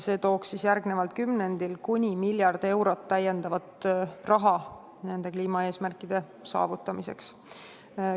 See tooks järgneval kümnendil kuni miljard eurot lisaraha, mida saaks kliimaeesmärkide saavutamiseks kasutada.